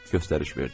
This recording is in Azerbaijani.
Göstərildi.